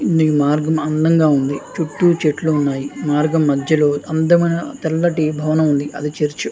ఈ మార్గం అంధంగా ఉంది. చుట్టూ చెట్లు ఉన్నాయి మార్గం మధ్యలో అంధమయిన తెల్లటి భవనం ఉంది. అది చర్చి .